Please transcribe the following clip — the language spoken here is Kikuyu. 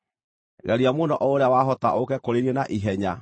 Geria mũno o ũrĩa wahota ũũke kũrĩ niĩ na ihenya,